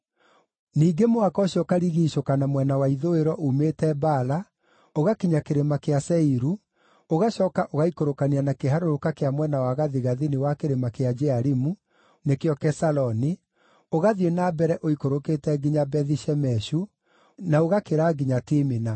Ningĩ mũhaka ũcio ũkarigiicũka na mwena wa ithũĩro uumĩte Baala ũgakinya Kĩrĩma kĩa Seiru, ũgacooka ũgaaikũrũkania na kĩharũrũka kĩa mwena wa gathigathini wa kĩrĩma gĩa Jearimu (nĩkĩo Kesaloni), ũgathiĩ na mbere ũikũrũkĩte nginya Bethi-Shemeshu, na ũgakĩra nginya Timina.